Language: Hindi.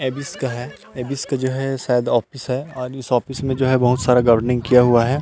एबिस का है एबिस का जो है शायद ऑफिस है और इस ऑफिस में शायद बहुत सारा गार्डनिंग किया हुआ है।